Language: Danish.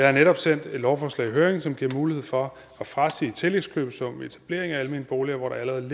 har netop sendt et lovforslag i høring som giver mulighed for at frasige tillægskøbesummen ved etablering af almene boliger hvor der allerede